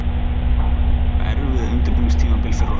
Þetta var erfitt undirbúningstímabil fyrir okkur.